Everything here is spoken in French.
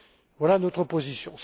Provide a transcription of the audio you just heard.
Voilà notre position.